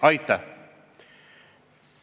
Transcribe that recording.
Aitäh!